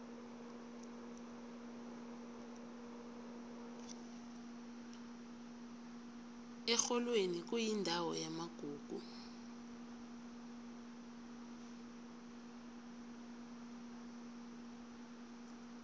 erholweni kuyindawo yamagugu